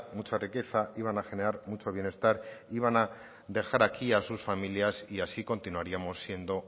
mucha riqueza iban a generar mucho bienestar iban a dejar aquí a sus familias y así continuaríamos siendo